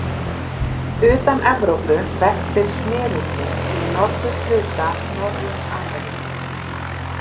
Utan Evrópu verpir smyrillinn í norðurhluta Norður-Ameríku.